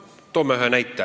Toome ühe näite.